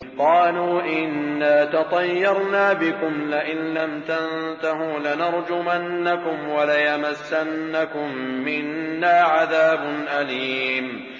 قَالُوا إِنَّا تَطَيَّرْنَا بِكُمْ ۖ لَئِن لَّمْ تَنتَهُوا لَنَرْجُمَنَّكُمْ وَلَيَمَسَّنَّكُم مِّنَّا عَذَابٌ أَلِيمٌ